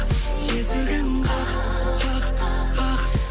есігін қақ қақ қақ